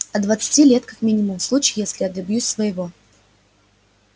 от двадцати лет как минимум в случае если я добьюсь своего